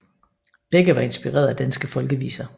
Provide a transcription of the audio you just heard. Begge var inspireret af danske folkeviser